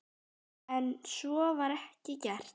En svo var ekki gert.